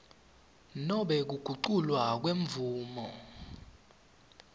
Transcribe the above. nobe kuguculwa kwemvumo